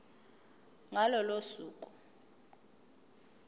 ngalo lolo suku